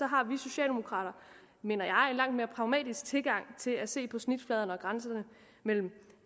har vi socialdemokrater mener jeg en langt mere pragmatisk tilgang til at se på snitfladen og grænserne mellem